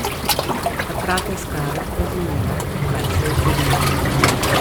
Takrat je Skarab razumela, kaj se je zgodilo.